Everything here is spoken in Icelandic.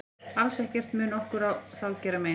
Alls ekkert mun okkur þá mein gera.